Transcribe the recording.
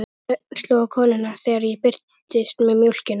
Þögn sló á konurnar þegar ég birtist með mjólkina.